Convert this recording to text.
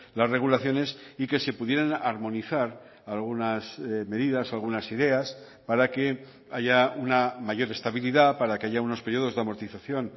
las regulaciones y que se pudieran armonizar algunas medidas algunas ideas para que haya una mayor estabilidad para que haya unos periodos de amortización